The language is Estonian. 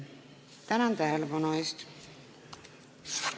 Tänan tähelepanu eest!